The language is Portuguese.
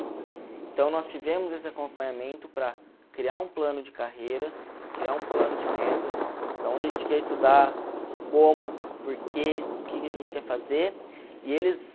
Então, nós tivemos esse acompanhamento para criar um plano de carreira, criar um plano de metas, de onde a gente quer estudar, como, porquê, o que a gente quer fazer, e eles...